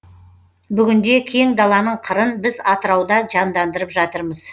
бүгінде кең даланың қырын біз атырауда жандандырып жатырмыз